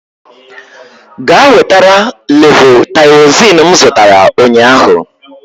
Gaa wetara levotaịrozin m zụtara ụnyaahụ!